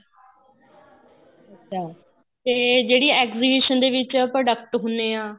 ਅੱਛਾ ਤੇ ਜਿਹੜੀ exhibition ਦੇ ਵਿੱਚ product ਹੁਣੇ ਆ